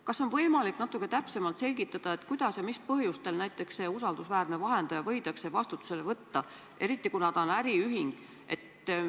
Kas on võimalik natuke täpsemalt selgitada, kuidas ja mis põhjustel see usaldusväärne vahendaja võidakse vastutusele võtta, eriti kuna ta on äriühing?